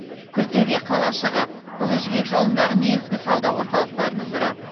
күлтөбе қалашығы ұлы жібек жолындағы негізгі сауда орталықтарының бірі